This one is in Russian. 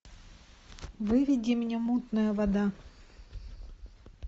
выведи мне мутная вода